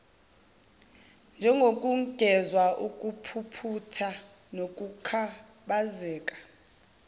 njengokungezwa ubumpumputhe nokukhubazeka